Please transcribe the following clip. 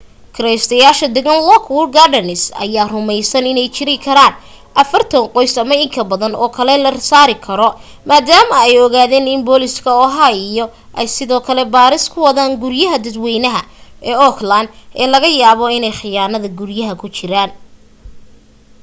kiraystayaasha degan lockwood gardens ayaa rumaysan inay jiri karaan 40 qoys ama in ka badan oo kale oo la saari karo maadaama ay ogaadeen in booliisia oha ay sidoo kale baaris ku wadaan guryaha dadwaynaha ee oakland ee laga yaabo inay khiyaanada guriyaynta ku jireen